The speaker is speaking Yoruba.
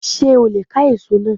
Sé o leè ká èso náà